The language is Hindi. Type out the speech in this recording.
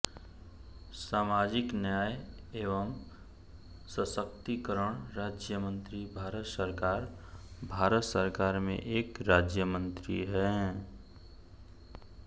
सामाजिक न्याय एवं सशक्तिकरण राज्यमंत्री भारत सरकार भारत सरकार में एक राज्य मंत्री हैं